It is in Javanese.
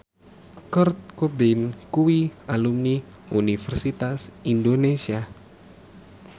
Kurt Cobain kuwi alumni Universitas Indonesia